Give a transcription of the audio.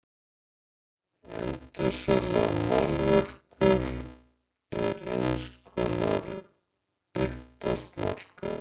Endursala á málverkum er eins konar uppboðsmarkaður.